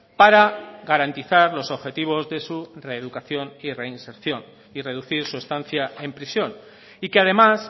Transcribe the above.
para garantizar los objetivos de su reeducación y reinserción y reducir su estancia en prisión y que además